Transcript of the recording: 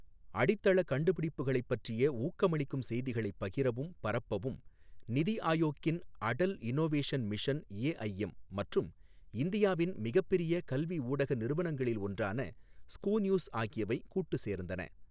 அடித்தள கண்டுபிடிப்புகளைப் பற்றிய ஊக்கமளிக்கும் செய்திகளை பகிரவும் பரப்பவும், நிதி ஆயோக்கின் அடல் இன்னொவேஷன் மிஷன் எஐஎம் மற்றும் இந்தியாவின் மிகப்பெரிய கல்வி ஊடக நிறுவனங்களில் ஒன்றான ஸ்கூநியூஸ் ஆகியவை கூட்டு சேர்ந்தன.